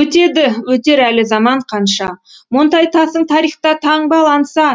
өтеді өтер әлі заман қанша монтайтасың тарихта таңбаланса